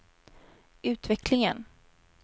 utvecklingen